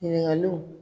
Ɲininkaliw